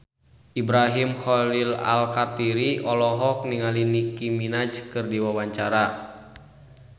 Ibrahim Khalil Alkatiri olohok ningali Nicky Minaj keur diwawancara